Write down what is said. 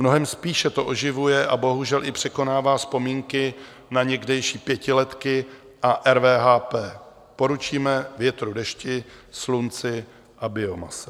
Mnohem spíše to oživuje a bohužel i překonává vzpomínky na někdejší pětiletky a RVHP: poručíme větru, dešti, slunci a biomase.